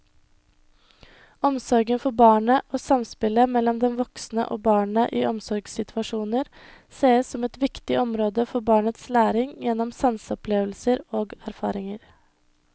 Omsorgen for barnet og samspillet mellom den voksne og barnet i omsorgssituasjoner ses som et viktig område for barnets læring gjennom sanseopplevelser og erfaringer.